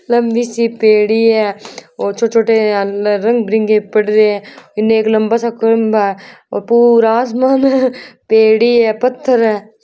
लम्बी सी पेड़ी है और छोटे-छोटे रंग बिरंगे हैं इन्ने एक लम्बा सा खम्बा है और राज महल पेड़ी है पत्थर है।